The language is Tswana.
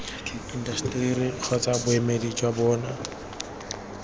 intaseteri kgotsa boemedi jwa bona